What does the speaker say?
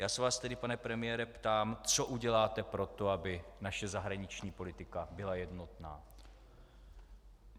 Já se vás tedy, pane premiére, ptám, co uděláte pro to, aby naše zahraniční politika byla jednotná.